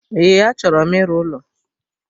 Ee, achọro m ịrụ ụlọ